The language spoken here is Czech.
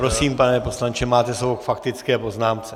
Prosím, pane poslanče, máte slovo k faktické poznámce.